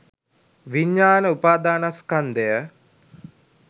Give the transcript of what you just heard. විඤ්ඤාණ උපාදානස්කන්ධය